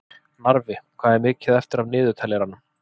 Narfi, hvað er mikið eftir af niðurteljaranum?